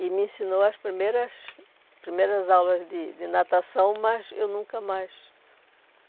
E me ensinou as primeiras primeiras aulas de de natação, mas eu nunca mais.